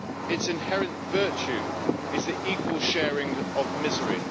its inherent virtue is the equal sharing of misery.